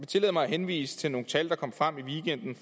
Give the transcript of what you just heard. tillade mig at henvise til nogle tal der kom frem i weekenden